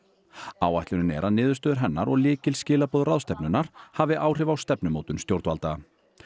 áætlunin er að niðurstöður hennar og ráðstefnunnar hafi áhrif á stefnumótun stjórnvalda